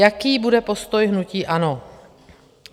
Jaký bude postoj hnutí ANO?